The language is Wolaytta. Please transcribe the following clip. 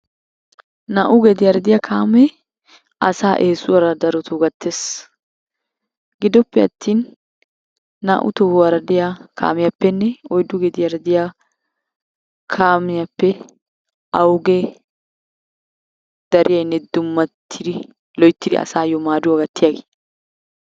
Naa"u gediyara diya kaamee asaa eesuwara darotoo gattees. Gidoppe attin naa"u tohuwara diya kaamiyappenne oyddu gediyara diya kaamiyappe awugee dariyaynne dummatiri loyttiri asaayyo maaduwa gattiyagee?